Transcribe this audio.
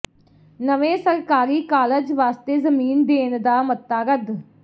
ਨਵੇਂ ਸਰਕਾਰੀ ਕਾਲਜ ਵਾਸਤੇ ਜ਼ਮੀਨ ਦੇਣ ਦਾ ਮਤਾ ਰੱਦ